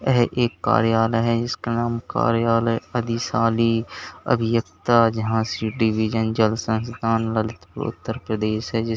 यह एक कार्यालय है जिसका नाम कार्यालय अधिशाली अभियंता झांसी डिविजन जल संस्थान ललितपुर उत्तर प्रदेश है जिस--